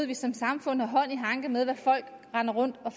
vi som samfund har hånd i hanke med hvad folk render rundt og